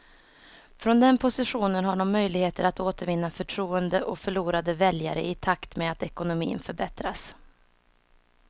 Från den positionen har de möjligheter att återvinna förtroende och förlorade väljare i takt med att ekonomin förbättras.